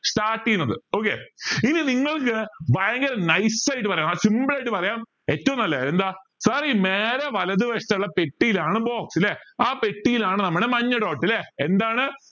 start ചെയുന്നത് okay ഇനി നിങ്ങൾക്ക് ഭയങ്കര nice ആയിട്ട് പറയാം simple ആയിട്ട് പറയാം ഏറ്റവും നല്ല എന്താ നേരെ വലത് വശത്തെ ഉള്ള പെട്ടിയിൽ ആണ് box ല്ലേ ആ പെട്ടിയിലാണ് നമ്മടെ മഞ്ഞ dot ല്ലേ എന്താണ്